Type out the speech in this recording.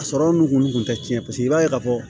A sɔrɔ n kun tɛ tiɲɛ paseke i b'a ye ka fɔ